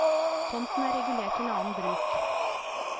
Tomten er regulert til annen bruk.